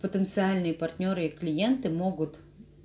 потенциальные партнёры и клиенты могут